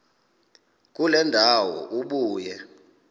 kule ndawo ubuye